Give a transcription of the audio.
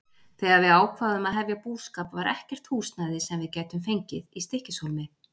Þegar við ákváðum að hefja búskap var ekkert húsnæði, sem við gætum fengið, í Stykkishólmi.